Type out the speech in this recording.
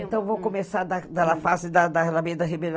Então, vou começar da da fase da da Alameda